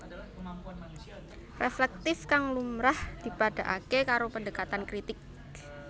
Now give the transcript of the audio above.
Reflektif kang lumrah dipadhaaké karo pendekatan kritik